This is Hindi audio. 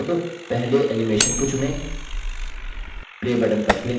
अब पहले animation को चुनें